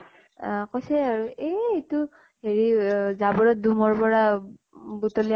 আহ কৈছে আৰু এহ এইটো হেৰি অহ জাবৰত দুমৰ পৰা বুট্লি